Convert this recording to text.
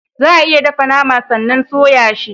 Za a iya dafa nama sannan a soya shi.